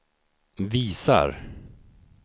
visar